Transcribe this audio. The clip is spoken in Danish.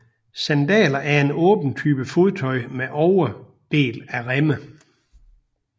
Sandaler er en åben type fodtøj med overdel af remme